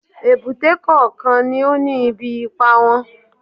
Èbúté kọ̀ọ̀kan ni ó ní ibi ipá wọn